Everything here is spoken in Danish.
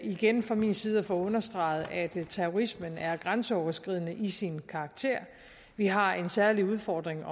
igen fra min side at få understreget at terrorismen er grænseoverskridende i sin karakter vi har en særlig udfordring